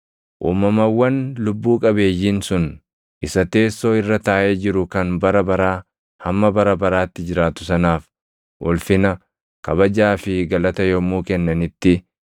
Uumamawwan lubbuu qabeeyyiin sun isa teessoo irra taaʼee jiru kan bara baraa hamma bara baraatti jiraatu sanaaf ulfina, kabajaa fi galata yommuu kennanitti,